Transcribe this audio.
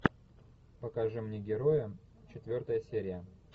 покажи мне героя четвертая серия